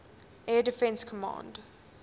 air defense command